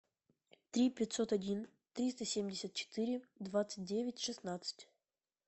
три пятьсот один триста семьдесят четыре двадцать девять шестнадцать